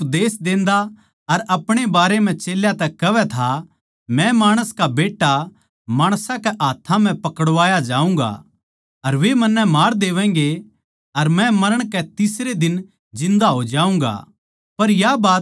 यीशु उपदेश देन्दा अर अपणे बारै म्ह चेल्यां तै कहवै था मै माणस का बेट्टा माणसां कै हाथ्थां म्ह पकड़वाया जाऊँगा अर वे मन्नै मार देवैगें अर मै मरण कै तीसरे दिन जिन्दा हो जाऊँगा